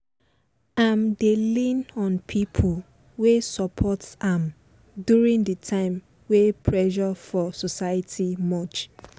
im dey lean on pipo wey support am during de time wen pressure for society much